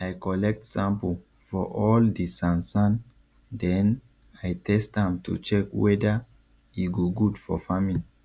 i collect sample for all di sansan den i test am to check weada e go good for farming